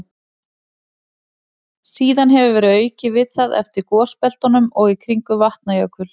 Síðan hefur verið aukið við það eftir gosbeltunum og í kringum Vatnajökul.